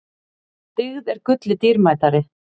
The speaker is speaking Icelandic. Dyggð er gulli dýrmætari.